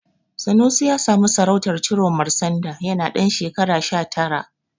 Sanusi ya samu sarautar Ciroma sanda yana ɗan shekara sha tara.